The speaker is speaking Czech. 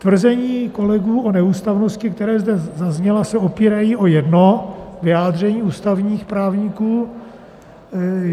Tvrzení kolegů o neústavnosti, která zde zazněla, se opírají o jedno vyjádření ústavních právníků.